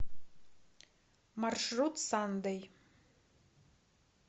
маршрут сандэй